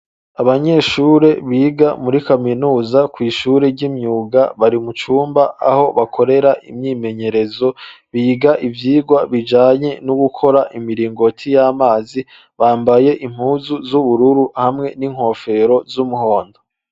Abanyeshure biga muri kaminuza ku ishuri ry'imyuga bari mu cumba aho bakorera imyimenyerezo biga ivyirwa bijanye no gukora imiringoti y'amazi bambaye impuzu z'ubururu hamwe n'inkofero z'umuhondo.